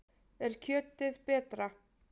Er kjötið betra?